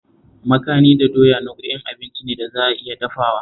Makani da doya nau'ukan abinci ne da za a iya dafawa